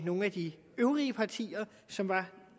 nogle af de øvrige partier som